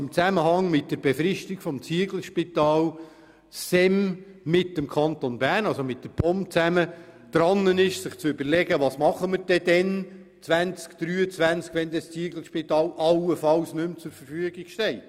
In Zusammenhang mit der Befristung des Zieglerspitals macht sich das SEM zusammen mit der POM Gedanken darüber, wie mit der Situation umgegangen werden soll, wenn im Jahr 2023 allenfalls das Zieglerspital nicht mehr zur Verfügung steht.